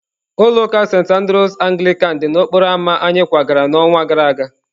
Ulọ uka Sentị Andrews Anglican dị n'okporo ámá anyị kwagara n'ọnwa gara aga.